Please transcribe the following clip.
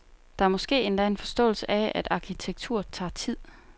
Der er måske endda en forståelse af, at arkitektur tager tid.